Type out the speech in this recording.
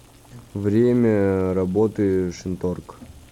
время работы шинторг